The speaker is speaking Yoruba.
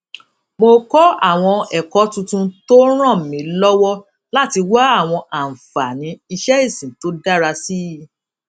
mo kó àwọn èkó tuntun tó ràn mí lówó láti wá àwọn àǹfààní iṣé ìsìn tó dára sí i